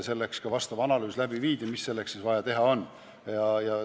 Selleks viidi läbi analüüs, mida siis vaja teha on.